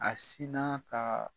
A sinaa kaa